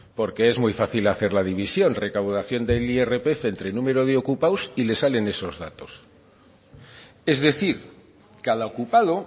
porque es muy fácil hacer la división recaudación de irpf entre número de ocupados y le salen esos datos es decir cada ocupado